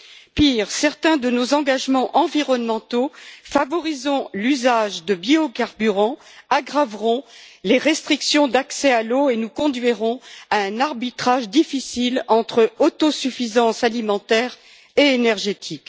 Pire, certains de nos engagements environnementaux favorisant l'usage de biocarburants aggraveront les restrictions d'accès à l'eau et nous conduiront à un arbitrage difficile entre autosuffisance alimentaire et énergétique.